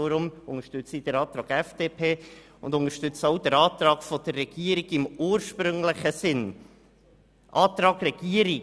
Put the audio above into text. Deshalb unterstütze ich den Antrag der FDP und damit auch den ursprünglichen Antrag der Regierung.